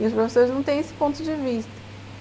E os professores não têm esse ponto de vista.